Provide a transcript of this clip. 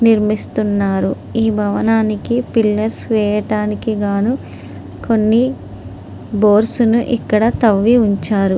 నిర్మిస్తూ ఉన్నారు. ఈ భవనానికి పిల్లర్స్ వేయడానికి గాను కొన్ని హోల్స్ వేయడానికి కానీ ఇక్కడ కొన్ని తవ్వి ఉంచారు.